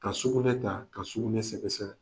Ka sugunɛ ta ka sugunɛ sɛgɛsɛgɛ.